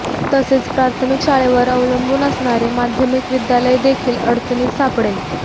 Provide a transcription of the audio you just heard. तसेच प्राथमिक शाळेवर अवलंबून असणारे माध्यमिक विद्यालय देखील अडचणीत सापडेल